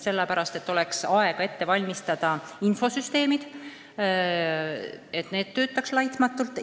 Peab olema aega ette valmistada infosüsteemid, et need töötaksid laitmatult.